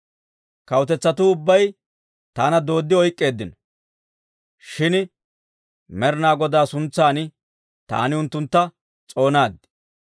Kawutetsatuu ubbay taana dooddi oyk'k'eeddino; shin Med'inaa Godaa suntsan taani unttuntta s'oonaad.